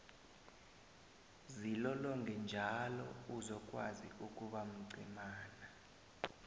zilolonge njalo uzokwazi ukuba mcemana